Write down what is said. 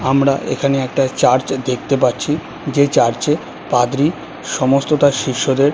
আমরা এখানে একটা চার্চ দেখতে পাচ্ছি যে চার্চ -এ পাদ্রী সমস্ত তার শিষ্যদের--